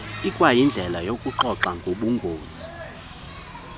ikwayindlela yokuxoxa ngobungozi